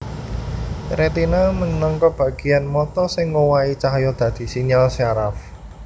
Retina minangka bagéan mata sing ngowahi cahya dadi sinyal syaraf